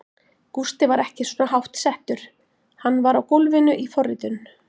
Gústi var ekki svona hátt settur, hann var á gólfinu í forritun.